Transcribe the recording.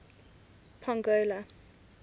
pongola